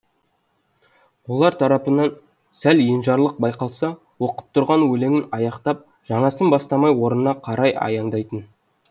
олар тарапынан сәл енжарлық байқалса оқып тұрған өлеңін аяқтап жаңасын бастамай орнына қарай аяңдайтын